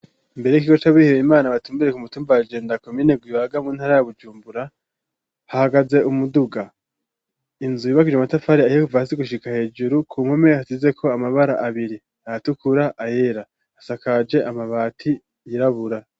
Imbere y'ikigo c'abihebeye Imana batumbere ku mutumba wa Jenda komine Rwibaga mu ntara ya Bujumbura, hahagaze umuduga. Inzu yubakishije amatafati ahiye kuva hasi gushika hejuru, ku mpome hasizeko amabara abiri, ayatukura, ayera. Isakaje amabati yirabura.